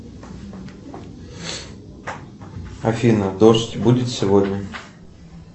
афина дождь будет сегодня